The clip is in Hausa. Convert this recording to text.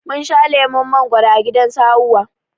Mun sha lemon mangwaro a gidan su Hauwa